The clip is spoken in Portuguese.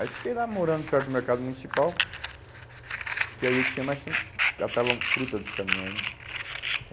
Aí fiquei lá morando perto do mercado municipal, que aí eu tinha mais tempo, catava fruta dos caminhões, né?